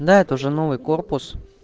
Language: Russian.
да это уже новый корпус